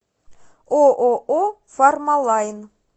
ооо фармалайн